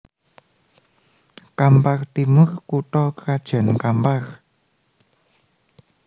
Kampar Timur kutha krajan Kampar